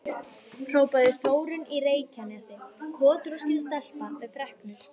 hrópaði Þórunn í Reykjanesi, kotroskin stelpa með freknur.